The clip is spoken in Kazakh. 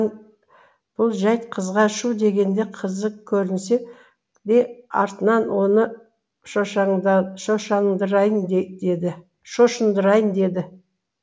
бұл жәйт қызға шу дегенде қызық көрінсе де артынан оны шошындырайын деді